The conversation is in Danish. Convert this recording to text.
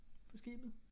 På skibet